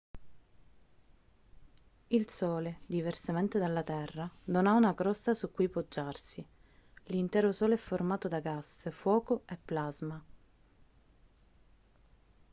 il sole diversamente dalla terra non ha una crosta su cui poggiarsi l'intero sole è formato da gas fuoco e plasma